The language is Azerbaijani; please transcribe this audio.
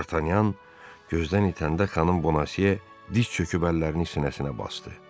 D'Artagnan gözdən itəndə xanım Boneziya diz çöküb əllərini sinəsinə basdı.